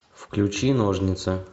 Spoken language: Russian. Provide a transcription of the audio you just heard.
включи ножницы